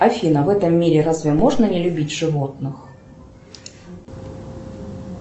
афина в этом мире разве можно не любить животных